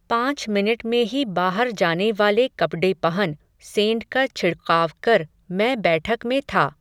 पांच मिनट में ही बाहर जाने वाले कपडे पहन, सेंट का छिडक़ाव कर, मैं बैठक में था